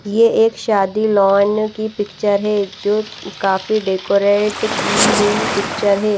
यह एक शादी लॉन की पिक्चर हैं जो काफी डेकोरेट की हुई पिक्चर हैं।